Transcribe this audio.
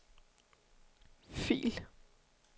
fil